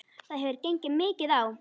Það hefur gengið mikið á!